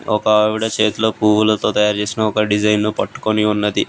ఒక ఆవిడ సేతిలో పువ్వులతో తయారు చేసిన ఒక డిజైన్ ను పట్టుకొని ఉన్నది.